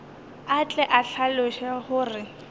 a tle a hlaloše gore